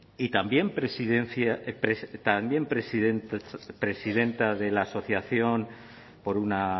y también presidenta de la asociación por una